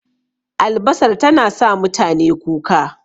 Albasar tana sa mutane kuka